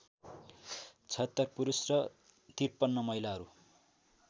७६ पुरुष र ५३ महिलाहरू